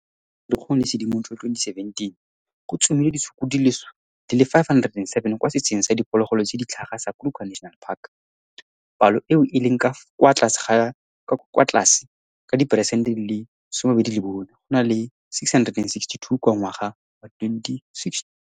Magareng ga Firikgong le Sedimonthole 2017, go tsomilwe ditshukudu di le 507 kwa setsheng sa diphologolo tse di tlhaga sa Kruger National Park, palo eo e leng kwa tlase ka diperesente di le 24 go na le 662 ka ngwaga wa 2016.